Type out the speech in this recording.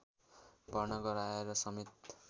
भर्ना गराएरसमेत